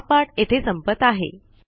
हा पाठ येथे संपत आहे